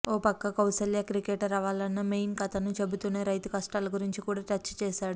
ఓ పక్క కౌసల్య క్రికెటర్ అవ్వాలన్న మెయిన్ కథను చెబుతూనే రైతు కష్టాల గురించి కూడా టచ్ చేశాడు